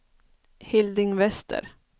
Hilding Wester